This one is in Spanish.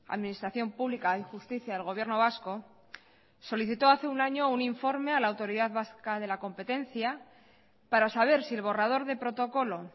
administración pública y justicia del gobierno vasco solicitó hace un año un informe a la autoridad vasca de la competencia para saber si el borrador de protocolo